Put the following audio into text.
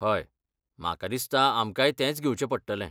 हय, म्हाका दिसता आमकांय तेंच घेवचें पडटलें.